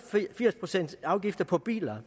firs procent afgift på biler